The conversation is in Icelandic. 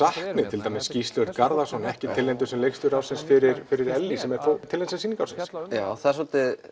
til dæmis Gísli Örn Garðarsson er ekki tilnefndur sem leikstjóri ársins fyrir Ellý sem er þó tilnefnd sem sýning ársins já það er svolítið